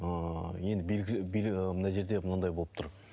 ыыы енді мына жерде мынадай болып тұр